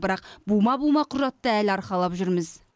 бірақ бума бума құжатты әлі арқалап жүрміз